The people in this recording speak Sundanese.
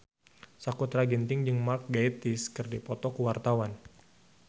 Sakutra Ginting jeung Mark Gatiss keur dipoto ku wartawan